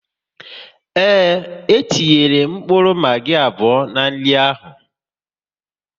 Ee etinyere mkpụrụ magi abụọ n'nri ahu